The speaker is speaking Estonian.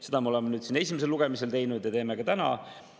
Seda me oleme esimesel lugemisel teinud ja teeme ka täna.